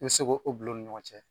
I bɛ se k'o bil'o ni ɲɔgɔn cɛ